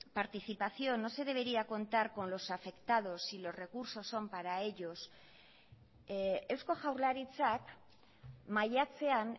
participación no se debería contar con los afectados y los recursos son para ellos eusko jaurlaritzak maiatzean